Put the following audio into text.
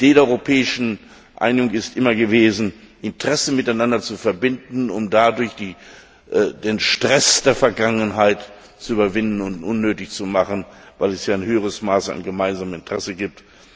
Die Idee der Europäischen Einigung ist immer gewesen, Interessen miteinander zu verbinden, um dadurch den Stress der Vergangenheit zu überwinden und unnötig zu machen, weil es ja größere gemeinsame Interessen gibt.